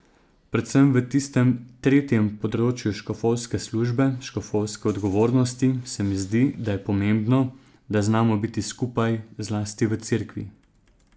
Predvsem v tistem tretjem področju škofovske službe, škofovske odgovornosti, se mi zdi, da je pomembno, da znamo biti skupaj, zlasti v Cerkvi.